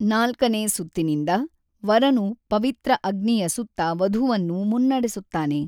ನಾಲ್ಕನೇ ಸುತ್ತಿನಿಂದ, ವರನು ಪವಿತ್ರ ಅಗ್ನಿಯ ಸುತ್ತ ವಧುವನ್ನು ಮುನ್ನಡೆಸುತ್ತಾನೆ.